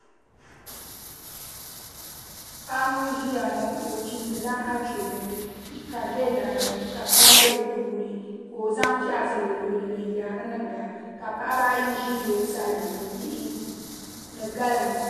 Paɣa ŋun ʒiya ŋo o chimdila achomo ka di bɛ laa ka kpam bɛ laa maa ni ka o zaŋ piɛɣu zali o luɣuli ni n yaari niŋda ka paɣaba ayi ʒi o sani ni bihi ni galiŋ